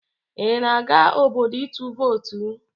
Ị na-aga obodo itụ vootu?